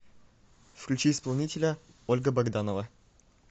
включи исполнителя ольга богданова